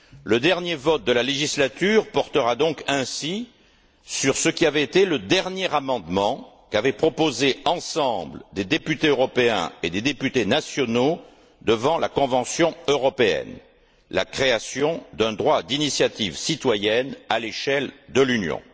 Le dernier vote de la législature portera donc ainsi sur ce qui avait été le dernier amendement qu'avaient proposé, ensemble, des députés européens et des députés nationaux devant la Convention européenne la création d'un droit d'initiative citoyenne à l'échelle de l'Union.